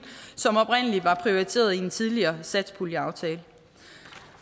som oprindelig var prioriteret i en tidligere satspuljeaftale